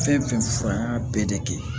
Fɛn fɛn fɔ an y'a bɛɛ de kɛ